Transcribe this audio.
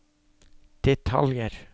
detaljer